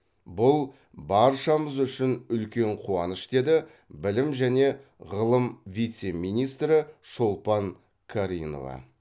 бұл баршамыз үшін үлкен қуаныш деді білім және ғылым вице министрі шолпан каринова